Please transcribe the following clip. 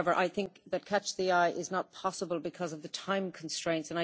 However, I think that catch the eye is not possible because of the time constraints.